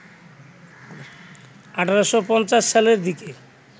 ১৮৫০ সালের দিকে